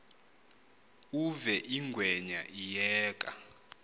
uve ingwenya iyeka